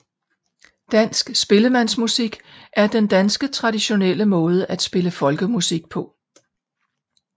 Dansk spillemandsmusik er den danske traditionelle måde at spille folkemusik på